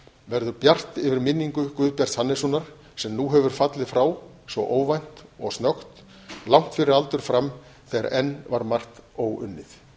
verður bjart yfir minningu guðbjarts hannessonar sem nú hefur fallið frá svo óvænt og snöggt langt fyrir aldur fram þegar enn var margt óunnið